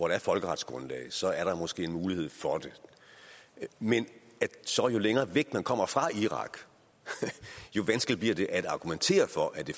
er et folkeretsgrundlag så er der måske en mulighed for det men jo længere væk man så kommer fra irak jo vanskeligere bliver det at argumentere for at det